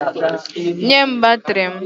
Nye m batrị m!